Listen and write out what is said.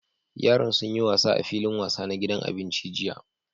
Yaran sun yi wasa a filin wasa na gidan abinci jiya.